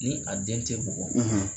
Ni a den tɛ bugɔ